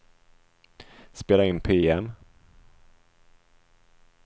spela in PM